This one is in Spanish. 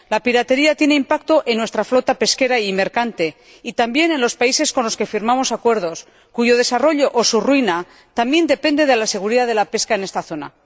La piratería tiene impacto en nuestra flota pesquera y mercante, y también en los países con los que firmamos acuerdos, cuyo desarrollo o su ruina también depende de la seguridad de la pesca en esta zona.